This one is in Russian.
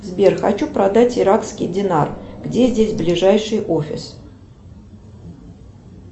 сбер хочу продать иракский динар где здесь ближайший офис